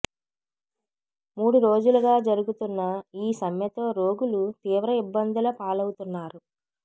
మూడు రోజులుగా జరుగుతున్న ఈ సమ్మెతో రోగులు తీవ్ర ఇబ్బందుల పాలవుతున్నారు